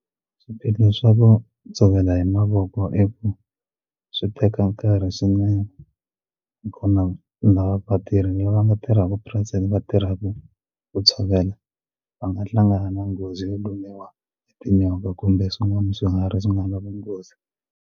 Swiphiqo swa ku tshovela hi mavoko i ku swi teka nkarhi swinene nakona lava vatirhi lava va nga tirhaku purasini va tirhaka ku tshovela va nga hlangana nghozi yo lumiwa hi tinyoka kumbe swin'wana swiharhi swi nga na vunghozi.